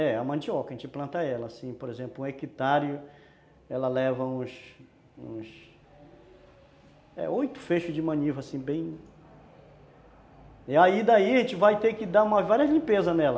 É, a mandioca, a gente planta ela assim, por exemplo, um hectares, ela leva uns uns oito feixos de maniva, assim, bem... E aí, daí a gente vai ter que dar várias limpezas nela.